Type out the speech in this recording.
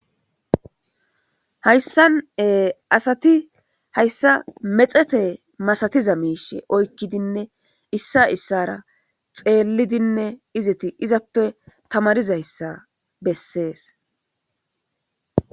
hayssane asati hayssa mexete masatiza miishe oykkidinne issa issara xeellidinne izeti izappe tamarizayssa bessees